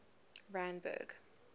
randburg